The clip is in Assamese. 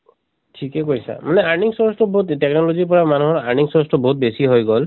ঠিকে কৈছা মানে earning source টো বহুত technology ৰ পৰা মানুহৰ earning source টো বহুত বেছি হৈ গʼল।